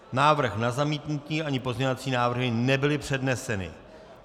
Návrh na zamítnutí ani pozměňovací návrhy nebyly předneseny.